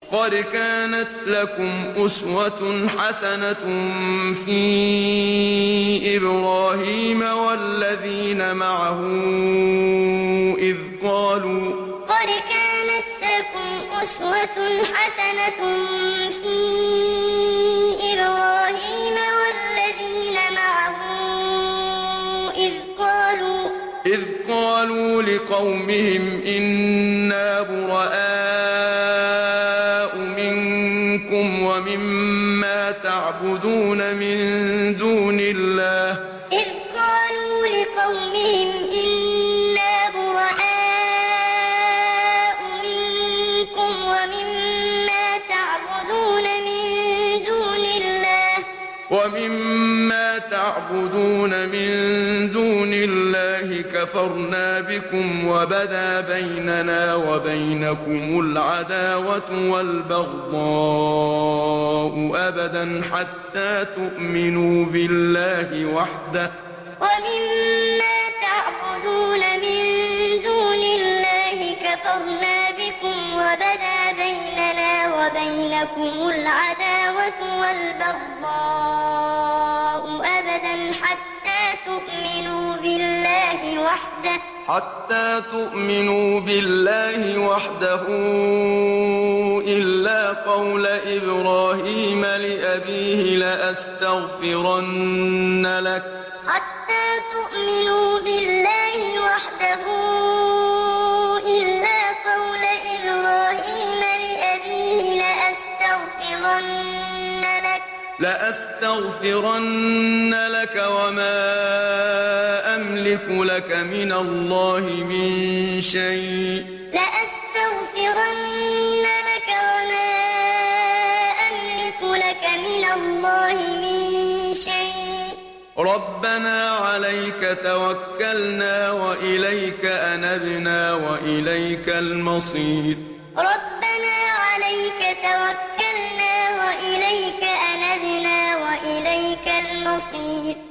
قَدْ كَانَتْ لَكُمْ أُسْوَةٌ حَسَنَةٌ فِي إِبْرَاهِيمَ وَالَّذِينَ مَعَهُ إِذْ قَالُوا لِقَوْمِهِمْ إِنَّا بُرَآءُ مِنكُمْ وَمِمَّا تَعْبُدُونَ مِن دُونِ اللَّهِ كَفَرْنَا بِكُمْ وَبَدَا بَيْنَنَا وَبَيْنَكُمُ الْعَدَاوَةُ وَالْبَغْضَاءُ أَبَدًا حَتَّىٰ تُؤْمِنُوا بِاللَّهِ وَحْدَهُ إِلَّا قَوْلَ إِبْرَاهِيمَ لِأَبِيهِ لَأَسْتَغْفِرَنَّ لَكَ وَمَا أَمْلِكُ لَكَ مِنَ اللَّهِ مِن شَيْءٍ ۖ رَّبَّنَا عَلَيْكَ تَوَكَّلْنَا وَإِلَيْكَ أَنَبْنَا وَإِلَيْكَ الْمَصِيرُ قَدْ كَانَتْ لَكُمْ أُسْوَةٌ حَسَنَةٌ فِي إِبْرَاهِيمَ وَالَّذِينَ مَعَهُ إِذْ قَالُوا لِقَوْمِهِمْ إِنَّا بُرَآءُ مِنكُمْ وَمِمَّا تَعْبُدُونَ مِن دُونِ اللَّهِ كَفَرْنَا بِكُمْ وَبَدَا بَيْنَنَا وَبَيْنَكُمُ الْعَدَاوَةُ وَالْبَغْضَاءُ أَبَدًا حَتَّىٰ تُؤْمِنُوا بِاللَّهِ وَحْدَهُ إِلَّا قَوْلَ إِبْرَاهِيمَ لِأَبِيهِ لَأَسْتَغْفِرَنَّ لَكَ وَمَا أَمْلِكُ لَكَ مِنَ اللَّهِ مِن شَيْءٍ ۖ رَّبَّنَا عَلَيْكَ تَوَكَّلْنَا وَإِلَيْكَ أَنَبْنَا وَإِلَيْكَ الْمَصِيرُ